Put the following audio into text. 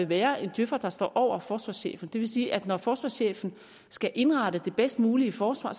være en djøfer der står over forsvarschefen det vil sige at når forsvarschefen skal indrette det bedst mulige forsvar